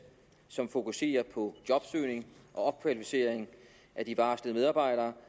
som fokuserer på jobsøgning og opkvalificering af de varslede medarbejdere